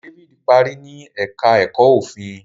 David parí ní èka èko òfin.